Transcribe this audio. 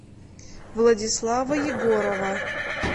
владислава егорова